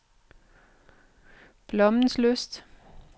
Blommenslyst